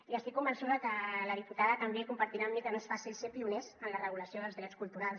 i estic convençuda que la diputada també compartirà amb mi que no és fàcil ser pioners en la regulació dels drets culturals